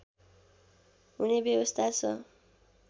हुने व्यवस्था छ